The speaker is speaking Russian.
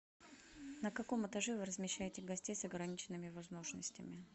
на каком этаже вы размещаете гостей с ограниченными возможностями